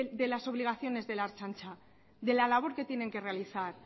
de las obligaciones de la ertzaintza de la labor que tienen que realizar